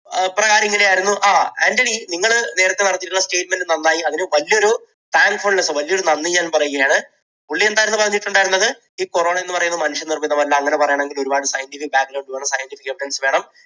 ഇപ്രകാരം, ഇങ്ങനെയായിരുന്നു ആൻറണി, നിങ്ങൾ നേരത്തെ പറഞ്ഞിട്ടുള്ള statement നന്നായി അതിന് വലിയൊരു thankfulness വലിയൊരു നന്ദി ഞാൻ പറയുകയാണ്. പുള്ളി എന്താണ് പറഞ്ഞിട്ട് ഉണ്ടായിരുന്നത് ഈ corona എന്നു പറയുന്നത് മനുഷ്യനിർമിതം അല്ല അങ്ങനെ പറയണമെങ്കിൽ ഒരുപാട് scientific വേണം scientific evidence വേണം.